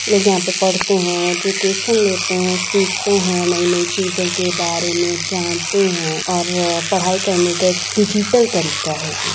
लोग यहाँ पर पढ़ते हैंएजुकेशन लेते हैंसीखते हैं नई-नई चीजों के बारे में जानते हैं और पढ़ाई करने का एक डिजिटल तरीका है ये---